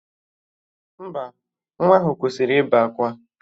Mba, nwa ahụ kwụsịrị ịbe akwa